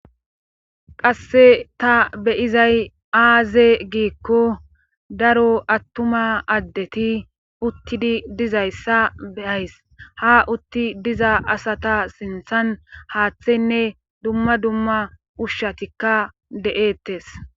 Kasse ta beyizay aaze giikko daro attuma addeti uttidi dizayssa beyays ha utti diza asata sinthan haaththenne dumma dumma ushshatikka de'ettes.